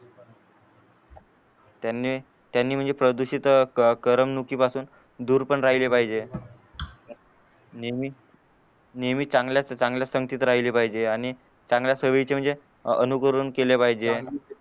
त्यांनी त्यांनी प्रदूषित क करमणूकी पासून दूर पण राहिले पाहिजे नेहमी नेहमी चांगल्या चांगल्याच संगतीत राहिले पाहिजे आणि चांगल्या सोई म्हणजे अनुकरण केले पाहिजे